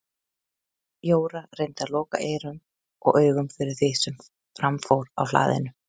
Jóra reyndi að loka eyrum og augum fyrir því sem fram fór á hlaðinu.